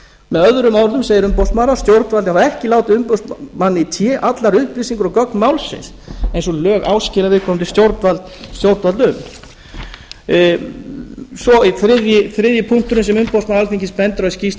með öðrum orðum segir umboðsmaður að stjórnvöld hafi ekki látið umboðsmanni í té allar upplýsingar um gögn málsins eins og lög áskilja viðkomandi stjórnvald um þriðji punkturinn sem umboðsmaður alþingis bendir á skýrslu